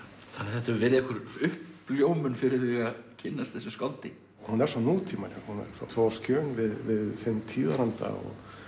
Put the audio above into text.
þetta hefur verið einhver uppljómun fyrir þig að kynnast þessu skáldi hún er svo nútímaleg hún er svo á skjön við sinn tíðaranda